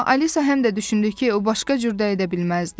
Amma Alisa həm də düşündü ki, o başqa cür də edə bilməzdi.